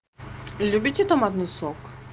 любите томатный сок